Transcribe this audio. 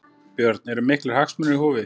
Björn: Eru miklir hagsmunir í húfi?